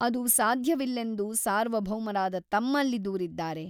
ಅದು ಸಾಧ್ಯವಿಲ್ಲೆಂದು ಸಾರ್ವಭೌಮರಾದ ತಮ್ಮಲ್ಲಿ ದೂರಿದ್ದಾರೆ.